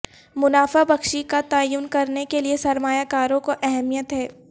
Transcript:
منافع بخشی کا تعین کرنے کے لئے سرمایہ کاروں کو اہمیت ہے